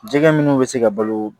Jɛgɛ minnu bɛ se ka balo